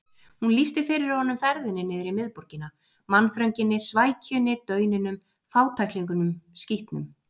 Hún lýsti fyrir honum ferðinni niður í miðborgina: mannþrönginni, svækjunni, dauninum, fátæklingunum, skítnum.